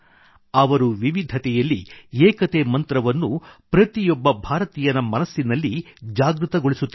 ಅವರು ವಿವಿಧತೆಯಲ್ಲಿ ಏಕತೆ ಮಂತ್ರವನ್ನು ಪ್ರತಿಯೊಬ್ಬ ಭಾರತೀಯನ ಮನಸ್ಸಿನಲ್ಲಿ ಜಾಗೃತಗೊಳಿಸುತ್ತಿದ್ದರು